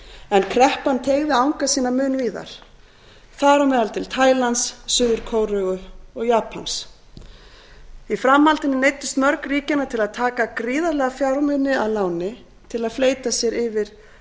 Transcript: en kreppan teygði anga sína mun víðar þar á meðal til taílands suður kóreu og japans í framhaldinu neyddust mörg ríkjanna til að taka gríðarlega fjármuni að láni til að fleyta sér yfir